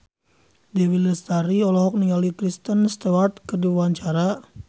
Dewi Lestari olohok ningali Kristen Stewart keur diwawancara